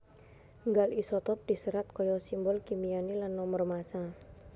Nggal isotop diserat kaya simbol kimiané lan nomor massa